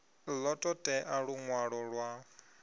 ḓo ṱo ḓea luṅwalo lwa